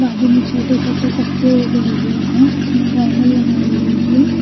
बाजू में छोटे छोटे पत्ते उगे हुए हैं उसने गोगल लगाई हुई है।